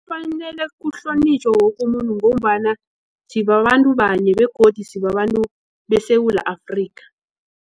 Kufanele kuhlonitjhwe woke umuntu ngombana sibabantu banye begodu sibabantu beSewula Afrika.